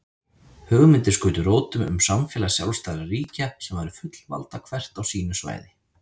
Hugmyndir skutu rótum um samfélag sjálfstæðra ríkja sem væru fullvalda hvert á sínu svæði.